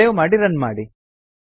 save ಮಾಡಿ run ಮಾಡಿ